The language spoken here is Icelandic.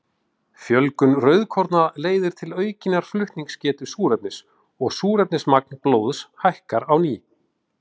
Fjölgun rauðkorna leiðir til aukinnar flutningsgetu súrefnis og súrefnismagn blóðs hækkar á ný.